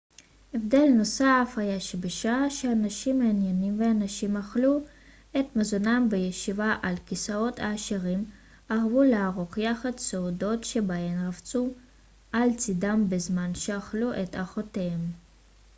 הבדל נוסף היה שבשעה שהאנשים העניים והנשים אכלו את מזונם בישיבה על כיסאות העשירים אהבו לערוך יחד סעודות שבהן רבצו על צידם בזמן שאכלו את ארוחתם